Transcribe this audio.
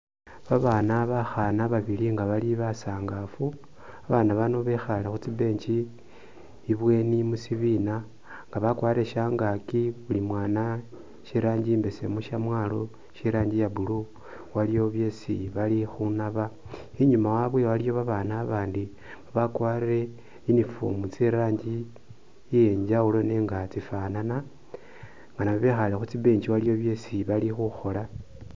Babana bakhana babili nga bali basangafu, babana baano bekhale khutsi'bench ibweni musibina nga bakwarile shangaki buli mwana she rangi imbesemu, shamwalo she rangi ya'blue, waliwo byesi balikhunaba, inyuma wabwe waliyo babana abandi babakwarile uniform tse rangi iyenjawulo nenga tsifanana, naabo bekhale khutsi'bench waliwo byesi balikhukhola